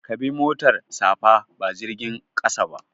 Ka bi motar safa ba jirgin ƙasa ba.